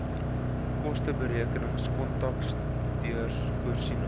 kosteberekenings kontakteurs voorsiening